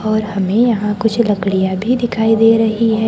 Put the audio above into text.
और हमें यहां कुछ लकड़ियां भी दिखाई दे रही है।